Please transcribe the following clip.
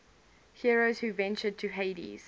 heroes who ventured to hades